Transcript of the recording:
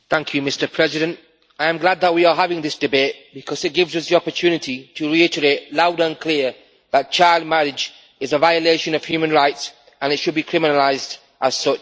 Mr President, I am glad that we are having this debate because it gives us the opportunity to reiterate, loud and clear, that child marriage is a violation of human rights and should be criminalised as such.